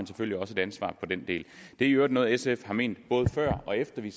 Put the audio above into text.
selvfølgelig også et ansvar for den del det er i øvrigt noget sf har ment både før og efter vi